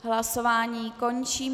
Hlasování končím.